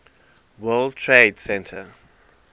world trade center